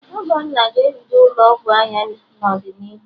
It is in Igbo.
Ogonna ga-ebido ụlọ ọgwụ anya n'ọdịnihu